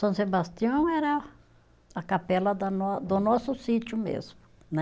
São Sebastião era a capela da nó, do nosso sítio mesmo, né?